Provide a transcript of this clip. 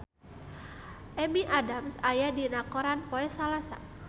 Amy Adams aya dina koran poe Salasa